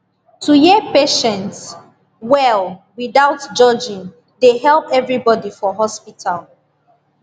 to hear patient well without judging dey help everybody for hospital